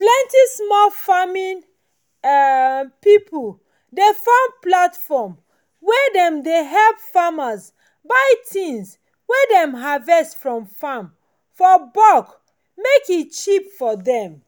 plenty small farming um pipo dey form platform wey dey help farmers buy tins wey dem harvest from farm for bulk make e cheap for dem